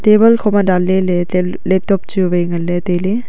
table khoma dan lele tel laptop chu wai ngan taile.